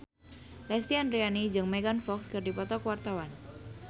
Lesti Andryani jeung Megan Fox keur dipoto ku wartawan